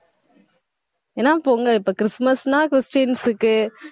ஏன்னா பொங்கல் இப்ப கிறிஸ்மஸ்னா கிறிஸ்டியன்ஸுக்கு